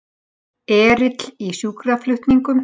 Erill í sjúkraflutningum